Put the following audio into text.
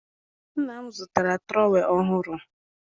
nna m zụtara trowel ọhụrụ